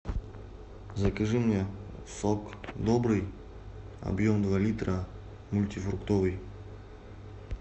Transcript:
закажи мне сок добрый объем два литра мультифруктовый